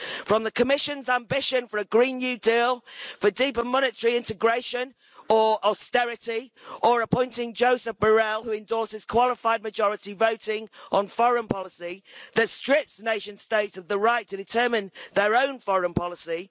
From the Commission's ambition for a Green New Deal, for deeper monetary integration or austerity, or appointing Josep Borrell, who endorses qualified majority voting on foreign policy that strips nation states of the right to determine their own foreign policy.